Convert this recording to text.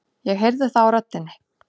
Ég heyri það á röddinni.